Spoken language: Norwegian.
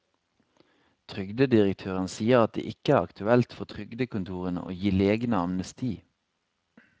Trygdedirektøren sier at det ikke er aktuelt for trygdekontorene å gi legene amnesti.